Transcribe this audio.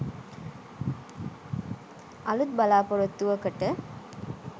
අලුත් බලාපොරොත්තුවකට